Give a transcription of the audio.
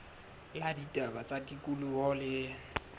la ditaba tsa tikoloho le